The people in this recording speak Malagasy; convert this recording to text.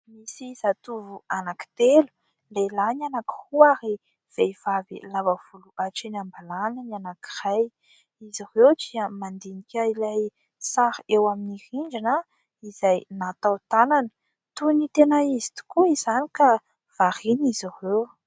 Misy zatovo anankitelo lehilahy ny anakiroa ary vehivavy lava volo hatreny am-balahany ny anankiray. Izy ireo dia mandinika ilay sary eo amin'ny rindrina izay natao tanana toy ny tena izy tokoa izany ka variana izy ireo.